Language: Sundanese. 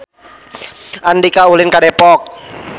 Andika ulin ka Depok